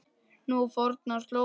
Nú á fornar slóðir.